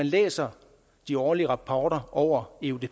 læser de årlige rapporter over eudp